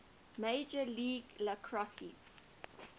major league lacrosse